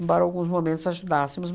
Embora alguns momentos ajudássemos.